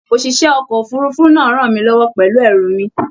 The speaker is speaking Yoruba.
ÒṢìṣẹ́ ọkọ̀ òfurufú náà rànmí lọ́wọ́ pẹ̀lú ẹrù mi